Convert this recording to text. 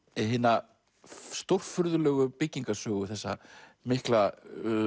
hina stórfurðulegu byggingarsögu þessa mikla